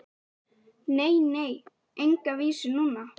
GVENDUR: Nei, nei, enga vísu núna.